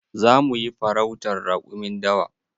Zamu yi farautan raƙumin dawa.